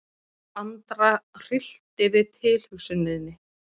Andra hryllti við tilhugsuninni.